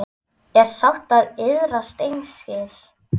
er sátt og iðrast einskis